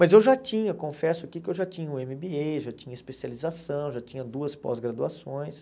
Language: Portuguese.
Mas eu já tinha, confesso aqui que eu já tinha o êm bí êi, já tinha especialização, já tinha duas pós-graduações.